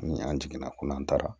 Ni an jiginna ko n'an taara